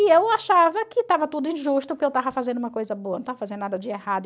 E eu achava que estava tudo injusto, que eu estava fazendo uma coisa boa, não estava fazendo nada de errado.